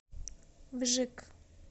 вжик